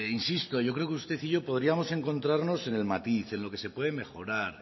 insisto yo creo que usted y yo podríamos encontrarnos en el matiz en lo que se puede mejorar